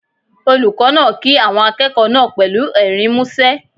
Olùkọ́ náà kí àwọn akẹ́kọ̀ọ́ náà pẹ̀lú ẹ̀rín músẹ́.